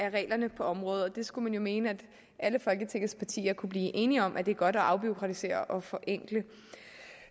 af reglerne på området og skulle jo mene at alle folketingets partier kunne blive enige om at det er godt at afbureaukratisere og forenkle